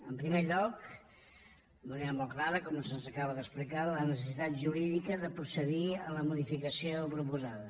en primer lloc d’una manera molt clara com se’ns acaba d’explicar la necessitat jurídica de procedir a la modificació proposada